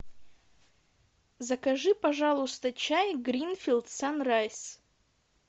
закажи пожалуйста чай гринфилд санрайз